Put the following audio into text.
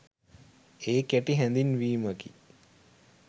ඒ කෙටි හැඳින්වීමකි.